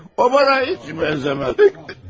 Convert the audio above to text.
O mənə heç bənzəməz.